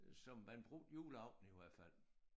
Som man brugte juleaften i hvert fald